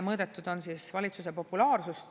Mõõdetud on valitsuse populaarsust.